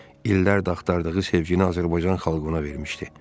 İllərdir axtardığı sevgini Azərbaycan xalqına vermişdi.